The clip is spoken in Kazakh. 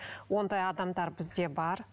ондай адамдар бізде бар